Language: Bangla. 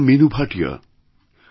আমারনাম মিনু ভাটিয়া